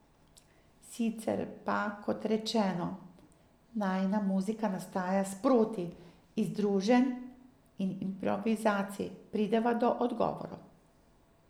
Sicer pa kot rečeno, najina muzika nastaja sproti, iz druženj in improvizacij prideva do odgovorov.